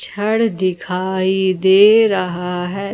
घड़ दिखाई दे रहा है।